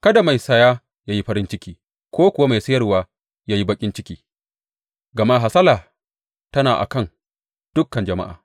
Kada mai saya ya yi farin ciki ko kuwa mai sayarwa ya yi baƙin ciki, gama hasala tana a kan dukan jama’a.